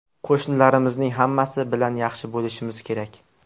Qo‘shnilarimizning hammasi bilan yaxshi bo‘lishimiz kerak.